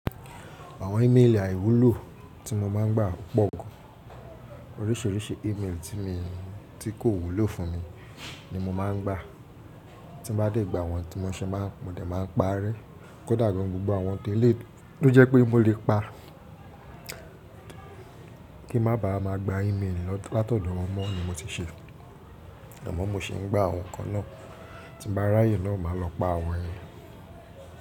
Àwọn email àìwúlò tí mo máa ń gbà pọ̀ gan. Oríṣiríṣi email tí mi ti kò wúlò fún mi ni mo máa ń gbà. Tí mo bá dé gba wọn tí mo ṣe máa mo dé máa ń parẹ́. Kódà gan gbogbo àwọn ti eleyii tó jẹ́ pé mo lè pa kí má ba à máa gba email látọ̀dọ̀ wọn mọ́ ni mo ti ṣe. Àmọ́ mo sì ń gbà àwọn kan náà. Tí ń bá ráyè na máa lọ pa àwọn yẹn.